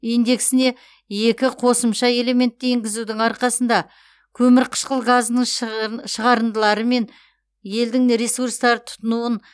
индексіне екі қосымша элементті енгізудің арқасында көмірқышқыл газының шығарындылары және елдің ресурстарды тұтынуын